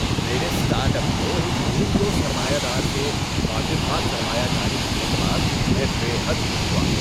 میرے start up کو ایک مہم جو سرمایہ دار سے خاطر خواہ سرمایہ کاری ملنے کے بعد میں بے حد خوش ہوا۔